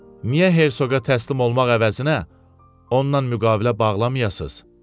Niyə Hersoqa təslim olmaq əvəzinə, ondan müqavilə bağlamayasız?